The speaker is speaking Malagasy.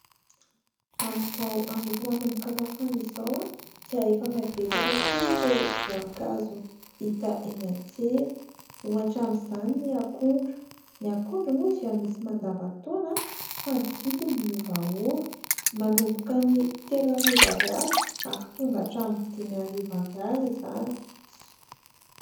Amin'izao andro efa manomboka mafana izao, dia efa miha-betsaka koa ireo voankazo hita eny an-tsena. Ohatra amin'izany ny akondro ; ny akondro moa dia misy mandavan-taona fa ny vidiny miovaova, manomboka ny telo arivo ariary ary tonga hatramin'ny dimy arivo ariary izany.